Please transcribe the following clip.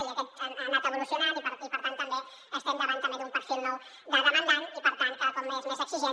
i aquest ha anat evolucionant i per tant també estem davant d’un perfil nou de demandant i per tant cada cop més exigent